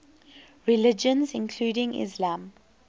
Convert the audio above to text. religions including islam